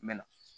Mɛ na